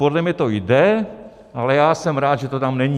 Podle mě to jde, ale já jsem rád, že to tam není.